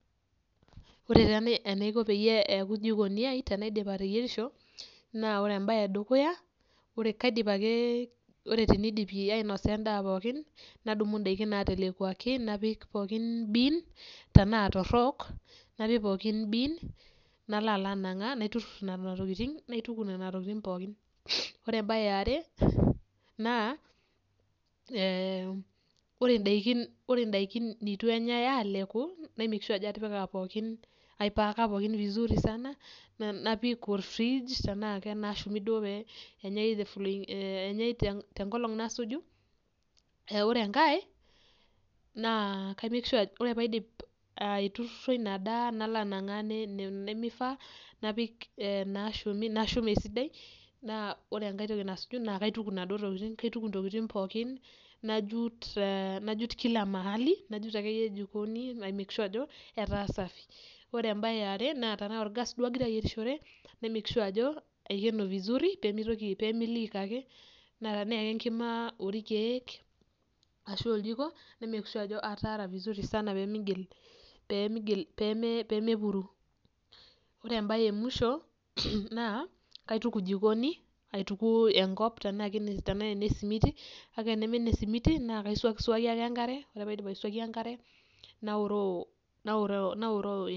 Ore taa enaiko peyie eaku jikoniai tenaidip ateyerisho naa ore embaye edukuya naa kaidip ake, ore teneidip ainosa endaa pookin nadumu indaiki natelekuaki napik pooki biin tanaa torok, napik pookin biin nalo alo anang'aa naiturrur nena tokitin, naituku nena tokitin pookin. Ore embaye eare naa ore indaikin neitu enyai aaleku naimek shua ajo ajo atipika pookin, aipaaka pookin vizuri sana napik olfriij tanaake naashumi duo peenyei the following, peenyei te nkolong nasuju, neaku ore enkae naa ore paidip aitururo inadaa nalo anang'aa nena nemeifaa, napik naashumi, nashum esidai naa ore enkae toki nasuju naa kaituku enaduo tokiti, kaituku ntokitin pookin, najut kila mahali, najut ake iyie jikoni naimek shua ajo etaa esafi. Ore embaye eare naa tana orgaas duo agira ayerishore naimek shua ajo aikeno vizuri pemeitoki, pemeiliik ake, naa tena ake enkima orkeek ashu oljiko naimeek shua ajo ataara vizuri sana pemeigil, peemepuru. Ore embaye emusho naa kaituk ejikoni, aituku enkop tanaa enesimiti kake enaa eneme esimiti naa kaisuaki suaki ake enkare, ore paidip aisuaki enkare naoroo.